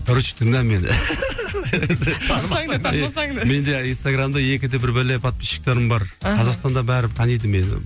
короче тыңда мені мен де инстаграмда екі де бір бәле подписшіктерім бар қазақстанда бәрі таниды мені